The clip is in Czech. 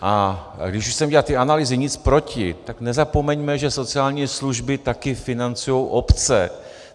A když už jsem dělal ty analýzy, nic proti, tak nezapomeňme, že sociální služby také financují obce.